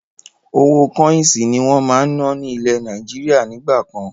Owó kọ́insì ni wọn máa ń ná ni ilẹ̀ Nàìjíríà nígbà kan.